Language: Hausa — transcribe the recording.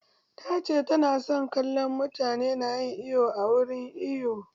Ta ce ta na son kallon mutane na yin iwo a wurin iwo